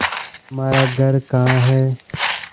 तुम्हारा घर कहाँ है